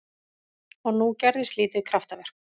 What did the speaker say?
Og nú gerðist lítið kraftaverk.